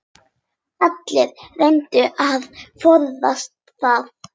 Allir reyndu að forðast það.